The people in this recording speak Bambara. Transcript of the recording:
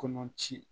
Kɔnɔ ci